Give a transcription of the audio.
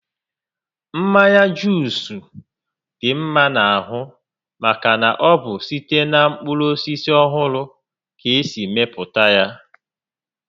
Mmanya Juus dị mma n'ahụ maka na ọ bụ site na mkpụrụ osisi ọhụrụ ka esi mepụta ya